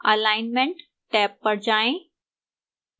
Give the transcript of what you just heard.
alignment tab पर जाएं